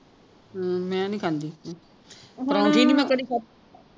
ਹਮ ਮੈਂ ਨਹੀਂ ਖਾਂਦੀ ਨਹੀਂ ਮੈਂ ਕਦੀ ਖਾਦੇ